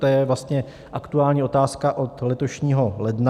To je vlastně aktuální otázka od letošního ledna.